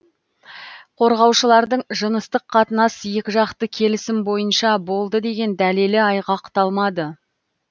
қорғаушылардың жыныстық қатынас екіжақты келісім бойынша болды деген дәлелі айғақталмады